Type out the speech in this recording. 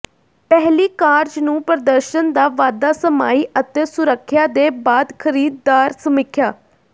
ਪਹਿਲੀ ਕਾਰਜ ਨੂੰ ਪ੍ਰਦਰਸ਼ਨ ਦਾ ਵਾਧਾ ਸਮਾਈ ਅਤੇ ਸੁਰੱਖਿਆ ਦੇ ਬਾਅਦ ਖਰੀਦਦਾਰ ਸਮੀਖਿਆ